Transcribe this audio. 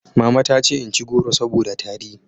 Mama ta ce in ci goro saboda tari